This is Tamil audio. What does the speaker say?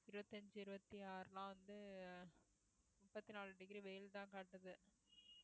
இருபத்தி அஞ்சு இருபத்தி ஆறுலாம் வந்து முப்பத்தி நாலு degree வெயில்தான் காட்டுது